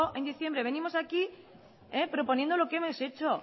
en diciembre venimos aquí proponiendo lo que hemos hecho